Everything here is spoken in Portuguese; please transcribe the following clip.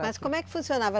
Mas como é que funcionava?